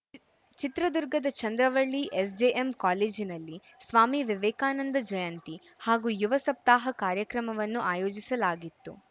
ಚಿತ್ರದುರ್ಗದ ಚಂದ್ರವಳ್ಳಿ ಎಸ್‌ಜೆಎಂ ಕಾಲೇಜಿನಲ್ಲಿ ಸ್ವಾಮಿ ವಿವೇಕಾನಂದ ಜಯಂತಿ ಹಾಗೂ ಯುವ ಸಪ್ತಾಹ ಕಾರ್ಯಕ್ರಮವನ್ನು ಆಯೋಜಿಸಲಾಗಿತ್ತು